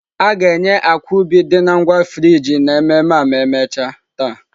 A ga-enye akwa ubi dị na ngwa frijị n'ememme a ma emechaa taa.